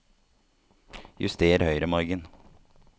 Juster høyremargen